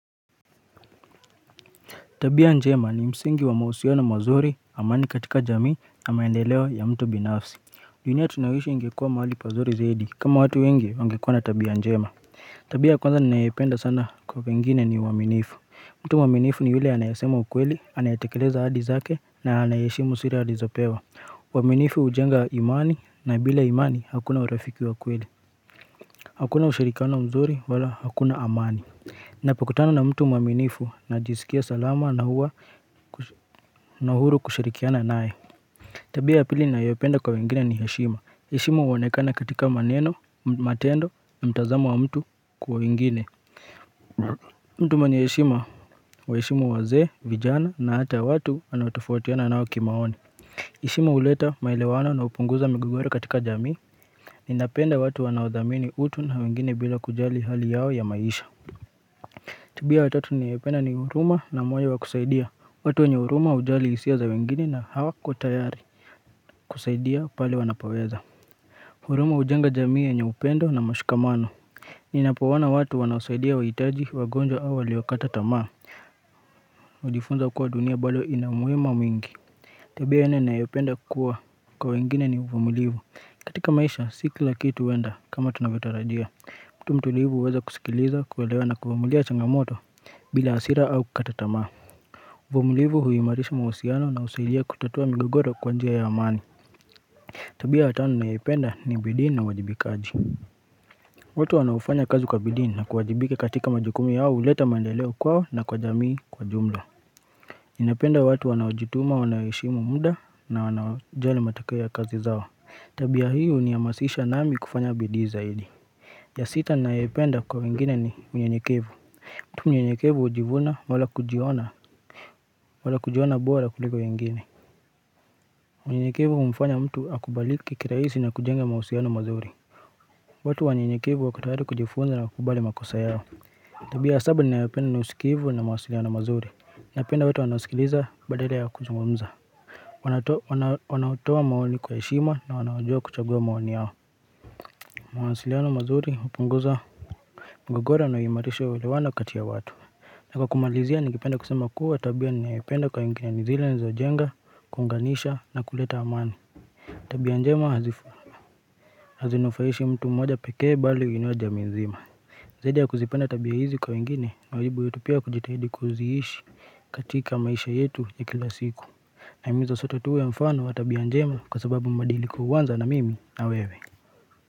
Tabia njema ni msingi wa mahusiano mazuri, amani katika jamii na maendeleo ya mtu binafsi. Dunia tunayoishi ingekua mahali pazuri zaidi kama watu wengi wangekuwa na tabia njema. Tabia ya kwanza ninayependa sana kwa pengine ni uaminifu. Mtu mwaminifu ni ule anayasema ukweli, anayatekeleza ahadi zake na anayeheshimu siri alizopewa. Uaminifu ujenga imani na bila imani hakuna urafiki wa ukweli. Hakuna ushirikiano mzuri wala hakuna amani. Napokutana na mtu mwaminifu najisikia salama na huwa na uhuru kushirikiana naye Tabia ya pili ninayoipenda kwa wengine ni heshima heshima huonekana katika maneno, matendo, mtazamo wa mtu kwa wengine mtu mwenye heshima huwaheshimu wazee, vijana na hata watu wanatofotautiana nao kimaoni heshima huleta maelewano na hupunguza mgogoro katika jamii Ninapenda watu wanaodhamini utu na wengine bila kujali hali yao ya maisha Tabia wa tatu ninayopenda ni huruma na moyo wa kusaidia watu wenye huruma hujali hisia za wengine na hawako tayari kusaidia pale wanapoweza huruma hujenga jamii yenye upendo na mashikamano Ninapo ona watu wanaosaidia wahitaji, wagonjwa au waliokata tamaa hujifunza kuwa dunia bado ina mwema mwingi Tabia nne ninayopenda kukua kwa wengine ni uvumilivu katika maisha si kila kitu huenda kama tunavyotarajia kuwa tu mtulivu uweze kusikiliza kuelewa na kuamulia changamoto bila hasira au kukata tamaa uvumulivu huimarisha mahusiano na husaidia kutatua migogoro kwa njia ya amani Tabia ya tano ninayoipenda ni bidii na uwajibikaji watu wanaofanya kazi kwa bidii ni na kuwajibika katika majukumu yao huleta maendeleo kwao na kwa jamii kwa jumla ninapenda watu wanaojituma wanaheshimu muda na wanaojali matokea ya kazi zao Tabia hii hunihamasisha nami kufanya bidii zaidi ya sita ninayoipenda kwa wengine ni unyenyekevu tu mnyenyekevu hujivuna wala kujiona wala kujiona bora kuliko wengine Mnyenyekevu humfanya mtu akubalike kirahisi na kujenga mahusiano mazuri watu wanyanyekevu wako tayari kujifunza na kukubali makosa yao Tabia ya saba ninayopenda ni usikiivu na mawasiliano mazuri Ninapenda watu wanaosikiliza badala ya kuzungumza Wanaotoa maoni kwa heshima na wanaojua kuchagua maoni yao mawasiliano mazuri hupunguza mgogoro na huimarisha uelewano kati ya watu na kwa kumalizia ningependa kusema kuwa tabia ninayoipenda kwa wengine ni zile zinazojenga, kuunganisha na kuleta amani Tabia njema hadhifu, hazinufaishi mtu mmoja pekee bali huinua jamii nzima Zaidi ya kuzipenda tabia hizi kwa wengine, mwajibu yetu pia kujitahidi kuziishi katika maisha yetu ya kila siku na himiza soto tuwe mfano wa tabia njema kwa sababu mbadiliko huanza na mimi na wewe.